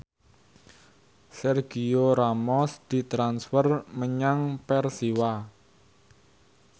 Sergio Ramos ditransfer menyang Persiwa